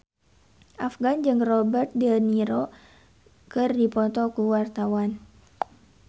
Afgan jeung Robert de Niro keur dipoto ku wartawan